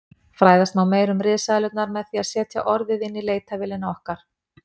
Fræðast má meira um risaeðlurnar með því að setja orðið inn í leitarvélina okkar.